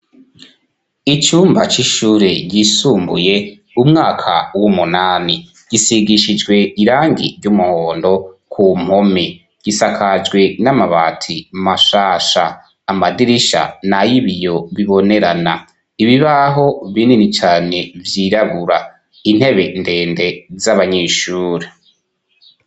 Icumba c'ishure ryisumbuye, umwaka w'umunani gisigishijwe irangi ry'umuhondo ku , gisakajwe n'amabati mashasha amadirisha, na y'ibiyo bibonerana ibibaho binini cyane byiragura intebe ndende, z'abanyeshure.